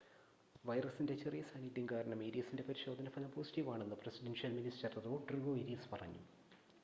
വൈറസിൻ്റെ ചെറിയ സാന്നിദ്ധ്യം കാരണം ഏരിയസിൻ്റെ പരിശോധന ഫലം പോസിറ്റീവ് ആണെന്ന് പ്രസിഡൻഷ്യൽ മിനിസ്റ്റർ റോഡ്രിഗോ ഏരിയസ് പറഞ്ഞു